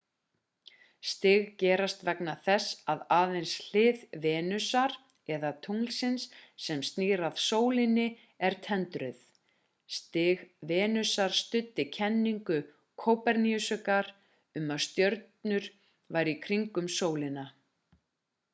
stig gerast vegna þess að aðeins hlið venusar eða tunglsins sem snýr að sólinni er tendruð. stig venusar studdi kenningu kóperníkusar um að reikistjörnurnar færu í kringum sólina